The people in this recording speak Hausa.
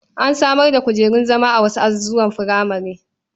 An samar da kujerun zama a wasu azuzuwan furamare.